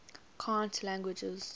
cant languages